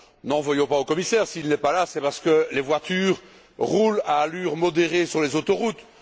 N'en voulons pas au commissaire. S'il n'est pas là, c'est que les voitures roulent à allure modérée sur les autoroutes.